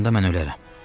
Onda mən ölərəm.